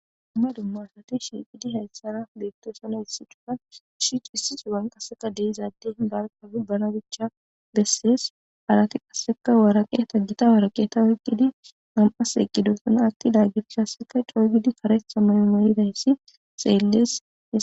Umma dummarsati shiiqidi hayssana beettoosana hissi chuna shiicu hissi su uwan qaseka deizadde barkabibbana bicha bessides alati qasseka waaraqe taggita waaraqeta oyqqidi am7as eqqidosuna atti laagir khasseka cooygidi karesa mayo moyidayssi xeelles